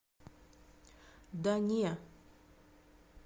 да не